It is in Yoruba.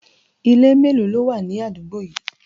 Ilé melo ló wà ní àdúgbò yìí?